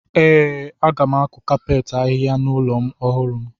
Ee, m ga-akụ kapet ahịhịa n’ụlọ ọhụrụ m.